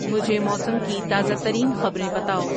مجھے موسم کی تازہ ترین خبریں بتاؤ